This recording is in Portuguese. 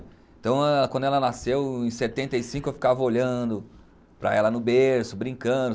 Então quando ela nasceu, em setenta e cinco, eu ficava olhando para ela no berço, brincando.